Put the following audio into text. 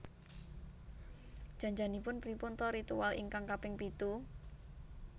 Jan janipun pripun ta ritual ingkang kaping pitu?